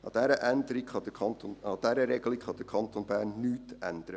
An dieser Regelung kann der Kanton Bern nichts ändern.